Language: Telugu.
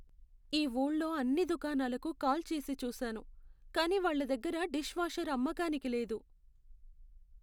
ఈ ఊళ్ళో అన్ని దుకాణాలకు కాల్ చేసి చూసాను, కానీ వాళ్ళ దగ్గర డిష్వాషర్ అమ్మకానికి లేదు.